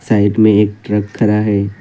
Side में एक truck खरा है।